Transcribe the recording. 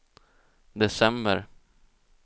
december